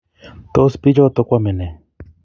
tos bik choto koame ne?